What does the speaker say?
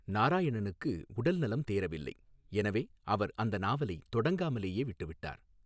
நாராயணனுக்கு உடல்நலம் தேறவில்லை, எனவே அவர் அந்த நாவலை தொடங்காமலே விட்டுவிட்டார்.